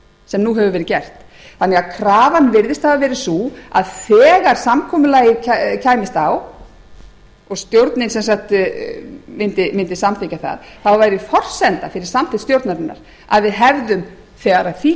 sem nú hefur verið átt þannig að krafan virðist hafa verið sú að þegar samkomulagið kæmist á og stjórnin mundi samþykkja það þá væri forsenda fyrir samþykkt stjórnarinnar að við hefðum þegar að því